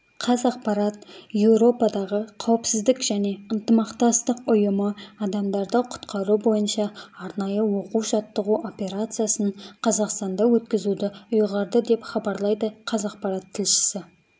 қазақпарат еуропадағы қауіпсіздік және ынтымақтастық ұйымы адамдарды құтқару бойынша арнайы оқу-жаттығу операциясын қазақстанда өткізуді ұйғарды деп хабарлайды қазақпарат тілшісі